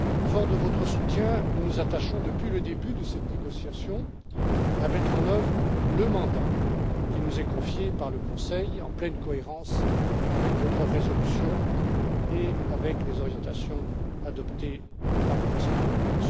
Forts de votre soutien, nous nous attachons depuis le début de cette négociation à mettre en œuvre le mandat qui nous est confié par le Conseil, en pleine cohérence avec votre résolution et avec les orientations adoptées par le Conseil européen.